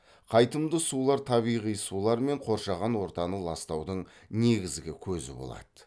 қайтымды сулар табиғи сулар мен қоршаған ортаны ластаудың негізгі көзі болады